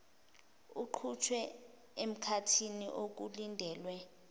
iqhutshwe emkhathini okulindelwe